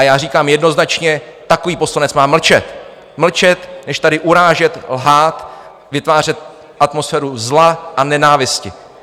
A já říkám jednoznačně, takový poslanec má mlčet, mlčet, než tady urážet, lhát, vytvářet atmosféru zla a nenávisti.